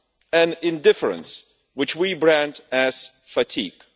and indifference that we brand as fatigue'.